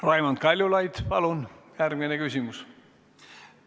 Raimond Kaljulaid, palun järgmine küsimus!